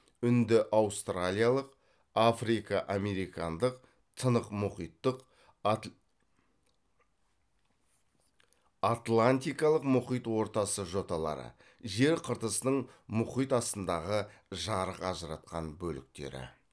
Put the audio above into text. үнді аустралиялық африка американдық тынық мұхиттық атлантикалық мұхит ортасы жоталары жер қыртысының мұхит астындағы жарық ажыратқан бөліктері